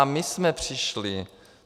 A my jsme přišli.